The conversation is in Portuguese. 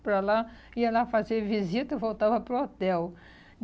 para lá, ia lá fazer visita e voltava para o hotel.